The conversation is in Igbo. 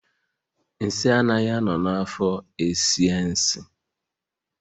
Nsị anaghị a nọ na afo esie nsị